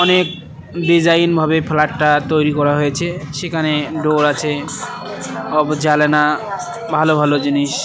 অনেক ডিজাইন ভাবে ফ্ল্যাটটা তৈরি করা হয়েছে সেখানে ডোর আছে জালানো ভালো ভালো জিনিস।